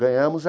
Ganhamos.